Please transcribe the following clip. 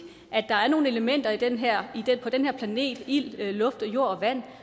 at der er nogle elementer på den her planet ild luft jord og vand